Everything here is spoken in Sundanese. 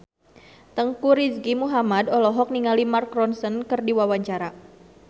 Teuku Rizky Muhammad olohok ningali Mark Ronson keur diwawancara